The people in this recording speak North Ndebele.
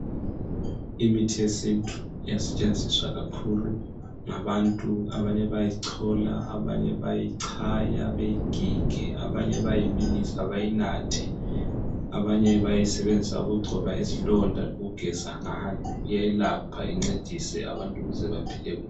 Imithi yesintu iyasetshenziswa kakhulu ngabantu, abanye bayayicola, abanye bayayicaya beyigige, abanye bayayibilisa beyinathe , abanye bayayisebenzisa ukugcoba izilonda ngokugeza ngayo, iyelapha incedise abantu ukuze baphile.